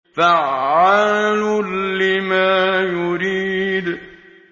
فَعَّالٌ لِّمَا يُرِيدُ